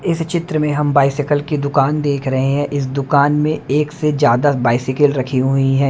इस चित्र में हम बाईसिकिल की दुकान देख रहे हैं इस दुकान में एक से ज्यादा बाईसिकिल रखी हुई हैं।